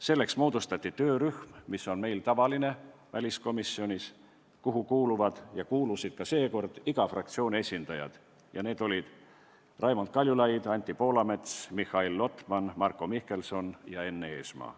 Selleks moodustati töörühm, mis on meil väliskomisjonis tavaline ja kuhu kuuluvad – kuulusid ka seekord – kõigi fraktsioonide esindajad: Raimond Kaljulaid, Anti Poolamets, Mihhail Lotman, Marko Mihkelson ja Enn Eesmaa.